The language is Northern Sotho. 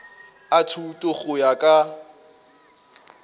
a thuto go ya ka